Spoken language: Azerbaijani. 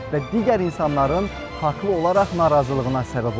Və digər insanların haqlı olaraq narazılığına səbəb olur.